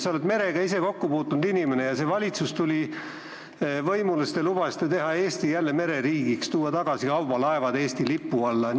Sa oled merega kokku puutunud inimene ja kui see valitsus tuli võimule, siis te lubasite teha Eesti jälle mereriigiks, tuua kaubalaevad tagasi Eesti lipu alla.